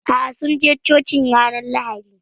Aa, sun je Cocin ranar Lahadi.